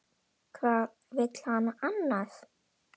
Hvað vill hann annað?